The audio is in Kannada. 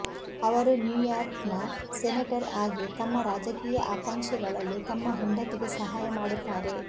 ಅವರು ನ್ಯೂ ಯಾರ್ಕ್ನ ಸೆನೆಟರ್ ಆಗಿ ತಮ್ಮ ರಾಜಕೀಯ ಆಕಾಂಕ್ಷೆಗಳಲ್ಲಿ ತಮ್ಮ ಹೆಂಡತಿಗೆ ಸಹಾಯ ಮಾಡುತ್ತಾರೆ